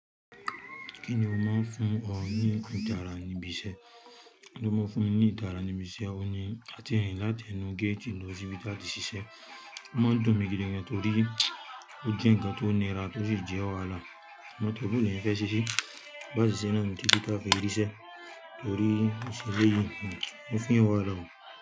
Kí ni o máa ń fún ọ ní ìtara ibi iṣẹ́? Kí ni o máa ń fún mi ní ìtara ibi iṣẹ́? Ohun ní àti rin láti ẹnu géètì lọ sí bí táàtì ṣíṣẹ́. Ó máa ń dun mí gidigan torí ó jẹ́ nǹkan tó nira tó sì jẹ́ ọ̀wààlá. Mo tọ̀ ọ́ bú bẹ́ẹ̀ ni ẹ́ fẹ́ ṣíṣe. Bá sì ṣẹ́ náà ni tí bí táà fi rí ṣẹ́ torí ìṣẹ̀lẹ̀ yìí ni ó fún iyàn wà hán.